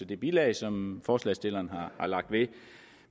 det bilag som forslagsstillerne har lagt ved